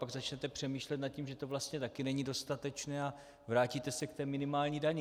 Pak začnete přemýšlet nad tím, že to vlastně taky není dostatečné, a vrátíte se k té minimální dani.